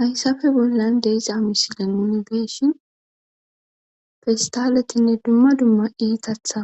Hayssafe bollan deesa misilen uni geshin festaletinne dumma dumma iitatha